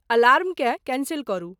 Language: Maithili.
अलार्मकेँ कैंसिल करू